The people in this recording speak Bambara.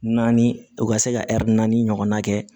Naani u ka se ka naani ɲɔgɔnna kɛ